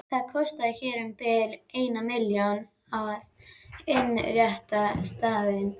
Það kostaði hér um bil eina milljón að innrétta staðinn.